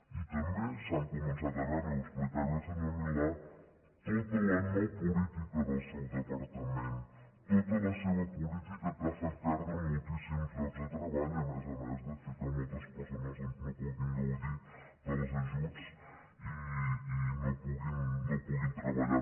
i també s’ha començat a veure i ho explicava ahir el senyor milà tota la no política del seu departament tota la seva política que ha fet perdre moltíssims llocs de treball a més a més de fer que moltes persones doncs no puguin gaudir dels ajuts i no puguin treballar